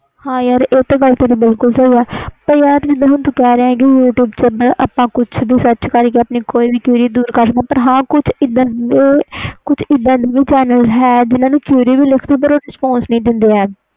ਹੈ ਯਾਰ ਇਹ ਤੇ ਤੇਰੀ ਗੱਲ ਬਿਲਕੁਲ ਸਹੀ ਆ ਯਾਰ ਤੂੰ ਜਿੰਦਾ ਹੁਣ ਕਹਿ ਰਿਹਾ ਆਪਾ ਕੁਛ sarch ਵੀ ਕਰਕੇ qurery solve ਕਰ ਸਕਦੇ ਆ ਕੁਛ ਇਹਦਾ ਦੇ ਚੈਨਲ ਵੀ ਹੈ ਜੋ respose ਨਹੀਂ ਦਿੰਦੇ